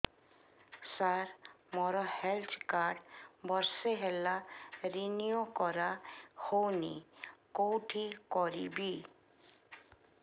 ସାର ମୋର health card ବର୍ଷେ ହେଲା ରିନିଓ କରା ହଉନି କଉଠି କରିବି